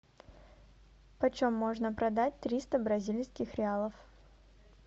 почем можно продать триста бразильских реалов